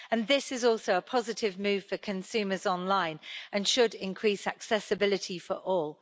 This is also a positive move for consumers online and should increase accessibility for all.